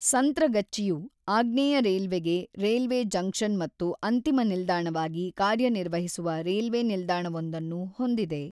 ಸಂತ್ರಗಚ್ಚಿಯು ಆಗ್ನೇಯ ರೈಲ್ವೆಗೆ railway junction ಮತ್ತು ಅಂತಿಮ ನಿಲ್ದಾಣವಾಗಿ ಕಾರ್ಯನಿರ್ವಹಿಸುವ ರೈಲ್ವೆ ನಿಲ್ದಾಣವೊಂದನ್ನು ಹೊಂದಿದೆ.